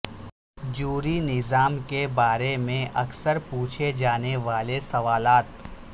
جوری نظام کے بارے میں اکثر پوچھے جانے والے سوالات